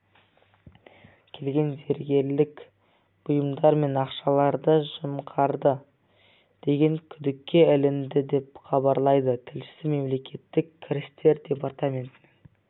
келген зергерлік бұйымдар мен ақшаларды жымқырды деген күдікке ілінді деп хабарлайды тілшісі мемлекеттік кірістер департаментінің